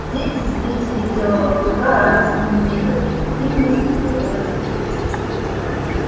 дети встретили белого клыка радостными криками и кинулись ему навстречу